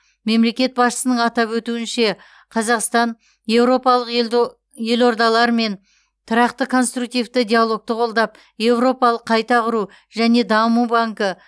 мемлекет басшысының атап өтуінше қазақстан еуропалық ело елордалармен тұрақты конструктивті диалогты қолдап еуропалық қайта құру және даму банкі